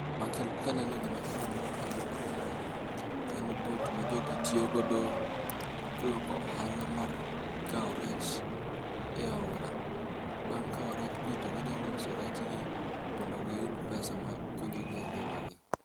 Kaneno gimakelo mor ka mokwongo en boat majogi tiyogodo loko ohala mar kawo rech e aora. Bang' kawo rechgi to ginyalo uso rechgi mondo giyud pesa makonyogi e ngima.